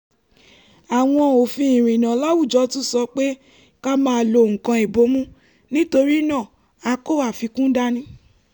àwọn òfin ìrìnnà láwùjọ tún sọ pé ká máa lo nǹkan ìbomú nítorí náà a kó àfikún dání